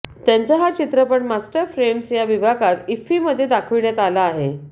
त्यांचा हा चित्रपट मास्टर फ्रेम्स या विभागात इफ्फीमध्ये दाखविण्यात आला आहे